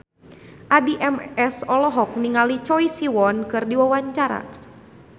Addie MS olohok ningali Choi Siwon keur diwawancara